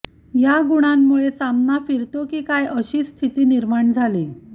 या गुणांमुळे सामना फिरतो की काय अशी स्थिती निर्माण झाली